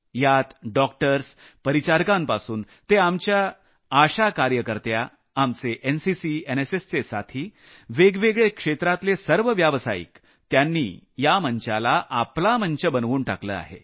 यात डॉक्टर्स परिचारिकांपासून ते आपल्या आशा कार्यकर्त्या आपल्या एनसीसी एनएसएसचे साथी वेगवेगळ्या क्षेत्रांतले सर्व व्यावसायिक त्यांनी या मंचाला आपला मंच बनवून टाकला आहे